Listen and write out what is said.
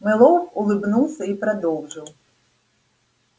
мэллоу улыбнулся и продолжил